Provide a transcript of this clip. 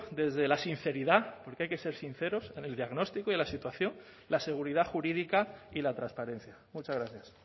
desde la sinceridad porque hay que ser sinceros en el diagnóstico y la situación la seguridad jurídica y la transparencia muchas gracias